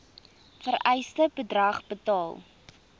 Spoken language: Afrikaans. vereiste bedrag betaal